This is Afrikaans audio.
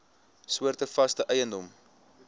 soorte vaste eiendom